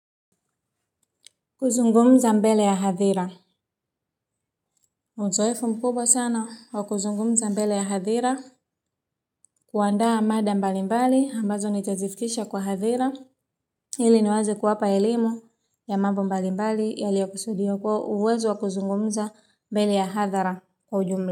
Kuzungumza mbele ya hadhira uzoefu mkubwa sana wa kuzungumza mbele ya hadhira kuandaa mada mbali mbali ambazo nitazifikisha kwa hadhira ili niweze kuwapa elimu ya mambo mbalimbali yaliyokusudio kwa uwezo wa kuzungumza mbele ya hadhara. Kwa ujumla.